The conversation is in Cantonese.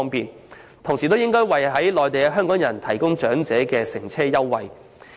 此外，當局亦應爭取為身處內地的港人長者提供乘車優惠。